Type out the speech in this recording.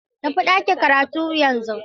Tafi ɗakin karatu yanzu!